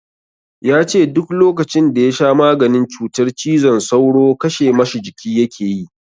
Ya ce duk lokacin da ya sha maganin cutar cizon sauro kashe ma shi jiki yake yi.